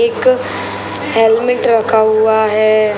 एक हेलमेट रखा हुआ है |